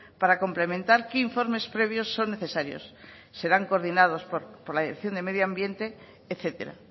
para complementar qué informes previos son necesarios serán coordinados por la dirección de medio ambiente etcétera